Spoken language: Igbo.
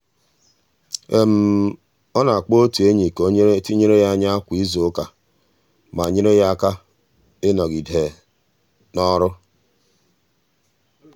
ọ na-akpọ otu enyi ka ọ na-etinyere ya anya kwa izuụka ma nyere ya aka ịnọgide n'ọrụ.